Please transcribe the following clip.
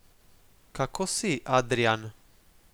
Kako si, Adrijan?